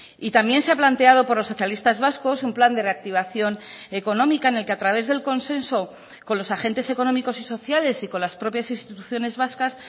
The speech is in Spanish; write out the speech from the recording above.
y también se ha planteado por los socialistas vascos un plan de reactivación económica en el que a través del consenso con los agentes económicos y sociales y con las propias instituciones vascas